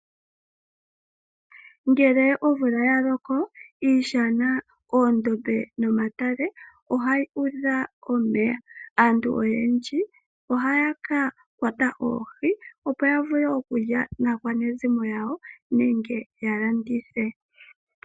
Ngele omvula ya loko, iishana, oondombe nomatale ohayi u dha omeya. Aantu oyendji ohaya ka kwata oohi, opo ya vule okulya naakwanezimo yawo nenge ya landithe.